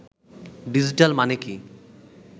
digital মানে কি